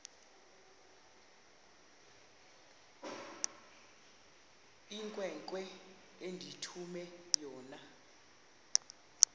inkwenkwe endithume yona